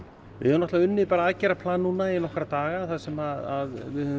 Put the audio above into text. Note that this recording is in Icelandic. við höfum unnið aðgerðarplan í nokkra daga þar sem